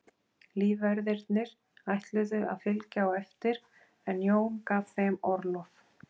Lífverðirnir ætluðu að fylgja á eftir en Jón gaf þeim orlof.